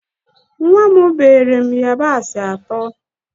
Nwa m beere yabasị atọ